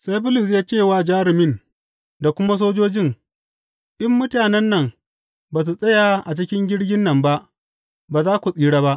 Sai Bulus ya ce wa jarumin da kuma sojojin, In mutanen nan ba su tsaya a cikin jirgin nan ba, ba za ku tsira ba.